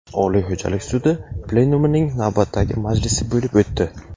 Oliy xo‘jalik sudi plenumining navbatdagi majlisi bo‘lib o‘tdi.